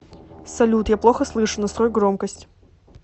салют я плохо слышу настрой громкость